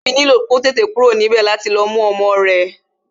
Tobi nílò kó tètè kúrò níbè láti lọ mú ọmọ rẹ